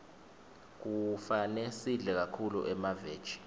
kufane sidle kakhulu emaveji